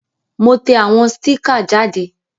Mo te àwon sticker jáde